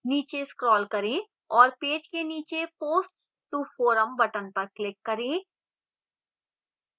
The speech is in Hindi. नीचे scroll करें और पेज के नीचे post to forum button पर click करें